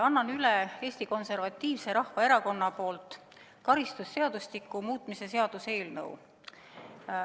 Annan Eesti Konservatiivse Rahvaerakonna nimel üle karistusseadustiku muutmise seaduse eelnõu.